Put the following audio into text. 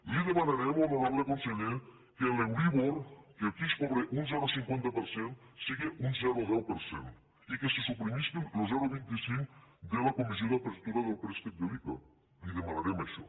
li demanarem honorable conseller que l’euríbor que aquí es cobra un zero coma cinquanta per cent siga un zero coma deu per cent i que se suprimisquen lo zero coma vint cinc de la comissió d’apertura del préstec de l’ica li demanarem això